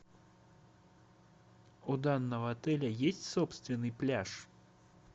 у данного отеля есть собственный пляж